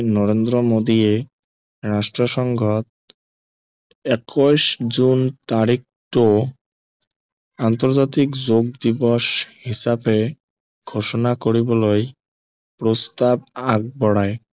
নৰেন্দ্ৰ মোডীয়েই ৰাষ্ট্ৰসংঘত একৈশ জোন তাৰিখটো আন্তৰ্জাতিক যোগ দিৱস হিচাপে ঘোষণা কৰিবলৈ প্ৰস্তাৱ আগৱঢ়ায়